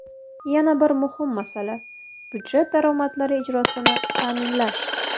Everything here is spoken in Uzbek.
Yana bir muhim masala budjet daromadlari ijrosini ta’minlash.